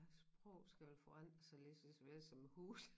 Sprog skal vel forandre sig lidt desværre som huse